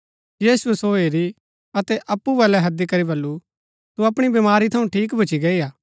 यीशुऐ सो हैरी अतै अप्पु बल्लै हैदी करी बल्लू तू अपणी बमारी थऊँ ठीक भूच्ची गैई हा